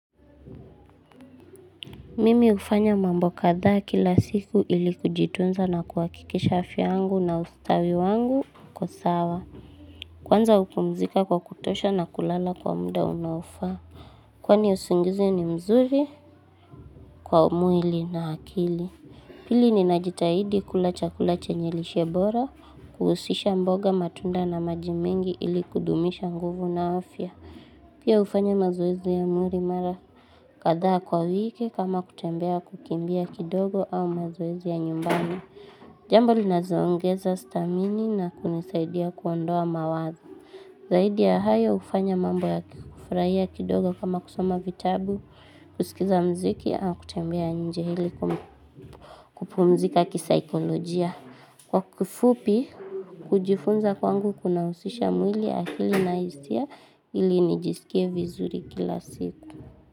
Mimi hufanya mambo kadhaa kila siku ili kujitunza na kuhakikisha afya yangu na ustawi wangu uko sawa. Kwanza hupumzika kwa kutosha na kulala kwa muda unaofaa. Kwani usingizi ni mzuri kwa mwili na akili. Pili ninajitahidi kula chakula chenye lishe bora. Kuhusisha mboga matunda na maji mengi ili kudumisha nguvu na afya. Pia hufanya mazoezi ya mwili mara. Kadhaa kwa wiki kama kutembea kukimbia kidogo au mazoezi ya nyumbani. Jambo linazoongeza stamini na kunisaidia kuondoa mawazo. Zaidi ya hayo hufanya mambo ya kufurahia kidogo kama kusoma vitabu, kusikiza muziki au kutembea nje ili kupumzika kisaikolojia. Kwa kufupi, kujifunza kwangu kuna husisha mwili akili na hisia ili nijisikie vizuri kila siku.